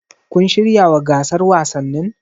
Kun shiryawa gasar wasannin?